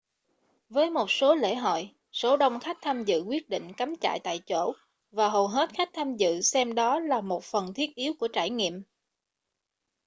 với một số lễ hội số đông khách tham dự quyết định cắm trại tại chỗ và hầu hết khách tham dự xem đó là một phần thiết yếu của trải nghiệm